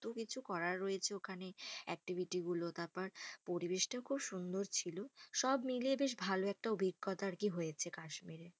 এত্ত কিছু করার রয়েছে ওখানে activity গুলো। তারপর পরিবেশটাও খুব সুন্দর ছিল। সব মিলিয়ে বেশ ভালো একটা অভিজ্ঞতা আর কি হয়েছে কাশ্মীরে।